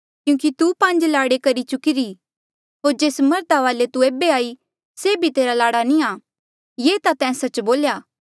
क्यूंकि तू पांज लाड़े करी चुकीरी होर जेस मर्धा वाले तू एेबे हाई से भी तेरा लाड़ा नी आ ये ता तैं सच्च बोल्या